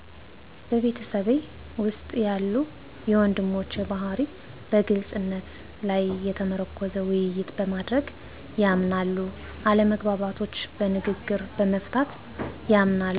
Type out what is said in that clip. በቤተሰቤ ውስጥ ያለ የወንድሞቼ ባህርይ በግልፅነት ላይ የተመረኮዘ ውይይት በማድረግ ያምናል አለመግባባቶች በንግግር በመፍታት ያምናል።